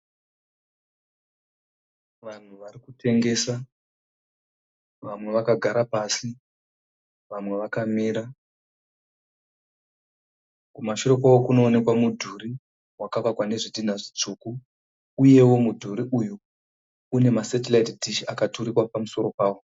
Vanhu varikutengesa vamwe vakagara pasi vamwe vakamira. Kumashure kwavo kunoonekwa mudhuri wakavakwa nezvidhina zvitsvuku. Uyewo mudhuri uyu une nasetiraiti dhishi akaturikwa pamusoro pawo.